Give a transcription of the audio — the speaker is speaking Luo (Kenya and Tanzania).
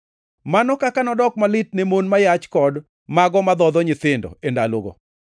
Mano kaka nodok malit ne mon ma yach kod mago madhodho nyithindo e ndalogo!